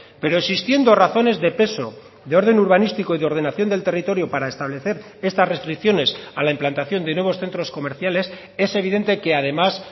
pero existiendo razones de peso de orden urbanístico y de ordenación del territorio para establecer estas restricciones a la implantación de nuevos centros comerciales es evidente que además